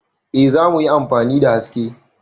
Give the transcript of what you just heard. Eh za mu yi amfani da haske.